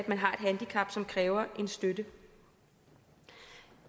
man har et handicap som kræver en støtte